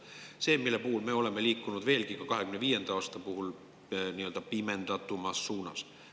See, mille puhul me oleme liikunud ka 2025. aasta puhul veelgi rohkem pimendatud suunas.